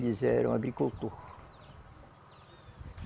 Eles eram agricultor.